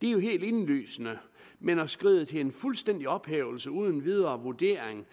det er jo helt indlysende men at skride til en fuldstændig ophævelse uden videre vurdering